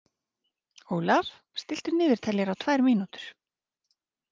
Ólaf, stilltu niðurteljara á tvær mínútur.